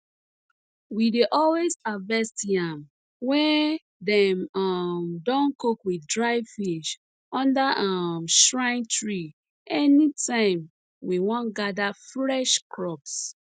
we dey always harvest yam wey dem um don cook with dry fish under um shrine tree anytime we wan gather fresh crops